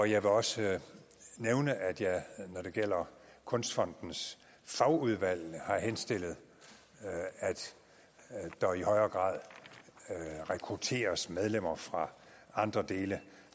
jeg vil også nævne at jeg når det gælder kunstfondens fagudvalg har henstillet at der i højere grad rekrutteres medlemmer fra andre dele